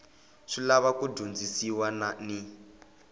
swi lava ku dyondzisiwa ni